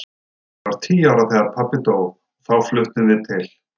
Ég var tíu ára þegar pabbi dó og þá fluttum við til